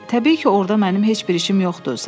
Təbii ki, orda mənim heç bir işim yoxdur.